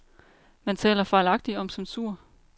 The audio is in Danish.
Man taler fejlagtig om censur.